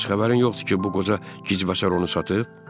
Bəs xəbərin yoxdur ki, bu qoca gicbəsər onu satıb?